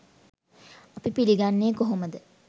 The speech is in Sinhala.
අපි පිළිගන්නේ කොහොමද?